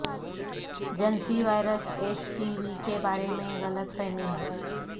جنسی virus H P V کے بارے میں غلط فہمیاں